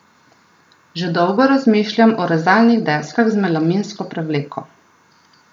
Že dolgo razmišljam o rezalnih deskah z melaminsko prevleko.